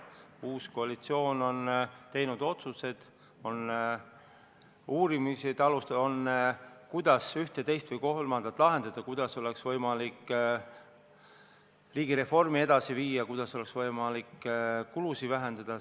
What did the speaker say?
Uus koalitsioon on teinud otsused, on alustatud uurimist, kuidas ühte, teist või kolmandat asja lahendada, kuidas oleks võimalik riigireformi edasi viia, kuidas oleks võimalik kulusid vähendada.